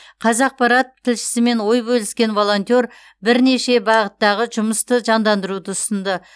қазақпарат тілшісімен ой бөліскен волонтер бірнеше бағыттағы жұмысты жандандыруды ұсынды